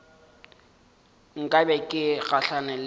nka be ke gahlane le